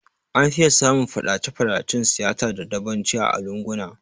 An fiye samun yawan Faɗace Faɗacen siyasa da dabanci a lunguna